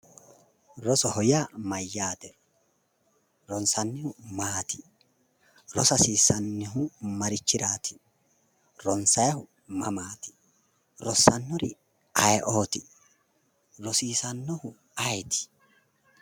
Rosoho yaa mayyaate? Ronsannihu maati? rosa hasiisanohu marichiraati? ronsannihu mamaati? rossannori ayewooti? risiissannori ayeeti?